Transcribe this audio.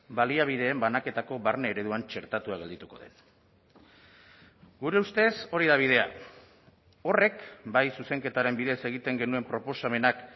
baliabideen banaketako barne ereduan txertatua geldituko den gure ustez hori da bidea horrek bai zuzenketaren bidez egiten genuen proposamenak